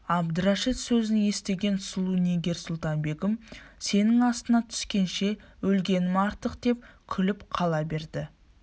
әбдірашит сөзін естіген сұлу нигер-сұлтан-бегім сенің астыңа түскенше өлгенім артықдеп күліп қала береді